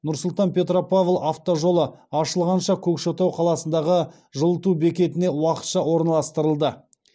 нұр сұлтан петропавл автожолы ашылғанша көкшетау қаласындағы жылыту бекетіне уақытша орналастырылды